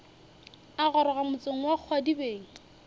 a goroga motseng wa kgwadibeng